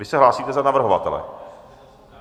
Vy se hlásíte za navrhovatele?